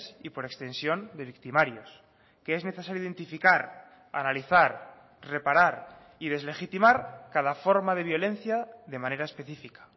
y por extensión de victimarios que es necesario identificar analizar reparar y deslegitimar cada forma de violencia de manera específica